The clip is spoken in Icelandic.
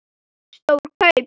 Stór kaup?